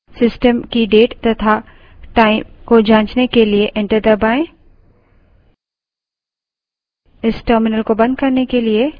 date type करें system की date तथा time को जांचने के लिए enter दबायें